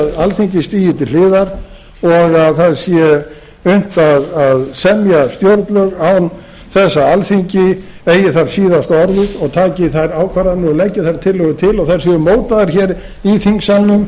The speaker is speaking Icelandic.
að alþingi stigi til hliðar og það sé unnt að semja stjórnlög án þess að alþingi eigi þar síðasta orðið og taki þær ákvarðanir og leggi þær tillögur til og þær séu mótaðar í þingsalnum